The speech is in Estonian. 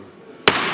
Aitäh!